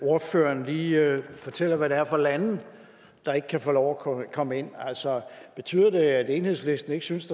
at ordføreren lige fortæller hvad det er for lande der ikke kan få lov at komme ind altså betyder det at enhedslisten ikke synes